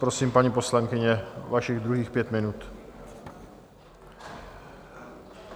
Prosím, paní poslankyně, vašich druhých pět minut.